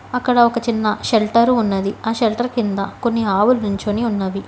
అక్కడ ఒక చిన్న షెల్టర్ ఉన్నది ఆ షెల్టర్ కింద కొన్ని ఆవులు నించొని ఉన్నవి.